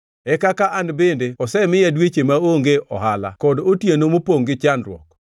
e kaka an bende osemiya dweche maonge ohala kod otieno mopongʼ gi chandruok.